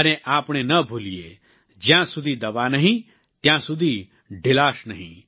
અને આપણે ન ભૂલીએ જ્યાં સુધી દવા નહીં ત્યાં સુધી ઢીલાશ નહીં